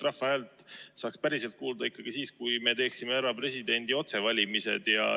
Rahva häält saaks päriselt kuulda ikkagi siis, kui me teeksime ära presidendi otsevalimised.